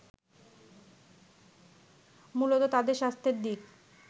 মূলত তাদের স্বাস্থ্যের দিক